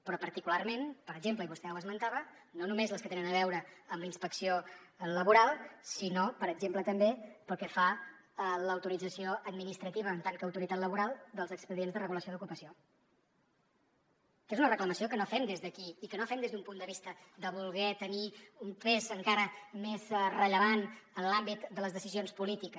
però particularment per exemple i vostè ho esmentava no només les que tenen a veure amb la inspecció laboral sinó per exemple també pel que fa a l’autorització administrativa en tant que autoritat laboral dels expedients de regulació d’ocupació que és una reclamació que no fem des d’aquí i que no fem des d’un punt de vista de voler tenir un pes encara més rellevant en l’àmbit de les decisions polítiques